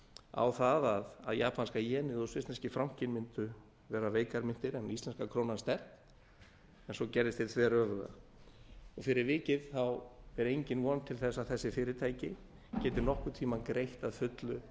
á það að japanska jenið og svissneski frankinn mundu vera veikar myntir en íslenska krónan sterk en svo gerðist hið þveröfuga og fyrir vikið er engin von til þess að þessi fyrirtæki geti nokkurn tíma greitt að fullu